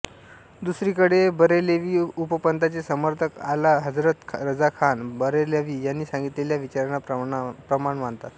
दुसरीकडे बरेलवी उपपंथाचे समर्थक आला हजरत रजा खान बरेलवी यांनी सांगितलेल्या विचारांना प्रमाण मानतात